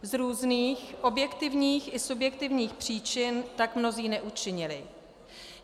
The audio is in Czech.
Z různých objektivních i subjektivních příčin tak mnozí neučinili.